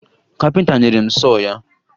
Kapịnta nyere m sọọ ya